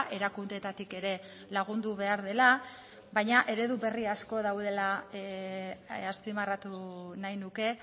erakundeetatik ere lagundu behar dela baina eredu berri asko daudela azpimarratu nahi nuke